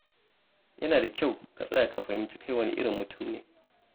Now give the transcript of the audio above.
Yana da kyau ka tsaya ka fahimci kai wane irin mutum ne.